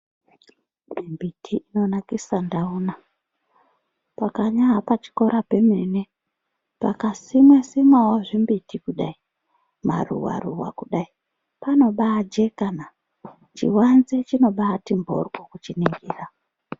Mbiti inonakise ndanaa, panyari pachikora pemene pangasimwa zvimbiti kudai, maruva ruva kudai panobaajeka naa, chivanze chinobati mburwu kuchena.